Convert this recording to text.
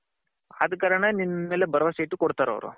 ಅದು ಕರಣ ನಿನ್ ಮೇಲೆ ಬರವಸೆ ಇಟ್ಟು ಕೊಡ್ತಾರೆ ಅವರು.